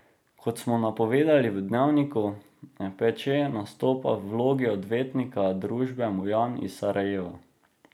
Kot smo napovedali v Dnevniku, Peče nastopa v vlogi odvetnika družbe Mujan iz Sarajeva.